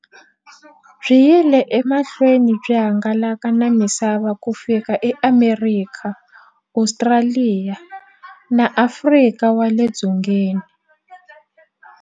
Byi yile emahlweni byi hangalaka na misava ku fika e Amerika, Ostraliya na Afrika wale dzongeni.